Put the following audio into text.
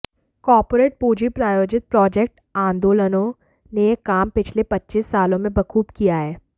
corporate पूंजी प्रायोजित project आंदोलनों ने यह काम पिछले पच्चीस सालों में बखूब किया है